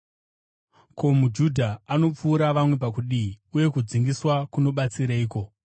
Ko, muJudha anopfuura vamwe pakudii, uye kudzingiswa kunobatsireiko?